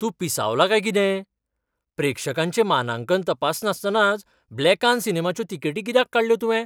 तूं पिसावला काय कितें? प्रेक्षकांचें मानांकन तपासनासतनाच ब्लॅकान सिनेमाच्यो तिकेटी कित्याक काडल्यो तुवें?